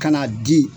Ka na di